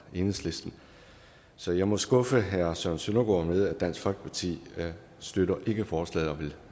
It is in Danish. enhedslisten så jeg må skuffe herre søren søndergaard med at dansk folkeparti ikke støtter forslaget og vil